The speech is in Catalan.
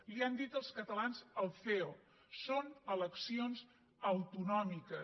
li ho han dit els catalans al ceo són eleccions autonòmiques